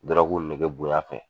nege bonya fɛ